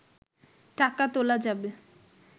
টাকা তোলা যাবে